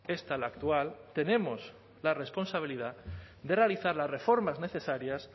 esta la actual tenemos la responsabilidad de realizar las reformas necesarias